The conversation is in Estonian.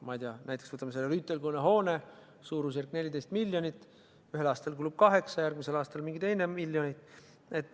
Võtame näiteks Rüütelkonna hoone, suurusjärk 14 miljonit eurot, millest ühel aastal kulub kaheksa, järgmisel aastal mingi teine arv miljoneid.